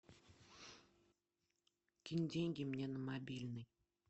кинь деньги мне на мобильный